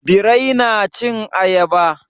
Birai na cin ayaba?